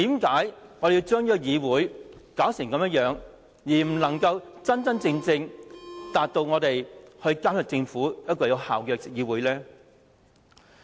為何要把議會變成一個不能夠真正做到有效監察政府的議會呢？